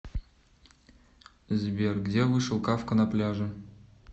сбер где вышел кафка на пляже